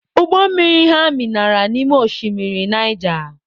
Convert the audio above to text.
Ụgbọ mmiri ha minara n'ime oshimiri Naija